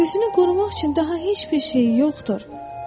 Özünü qorumaq üçün daha heç bir şey yoxdur.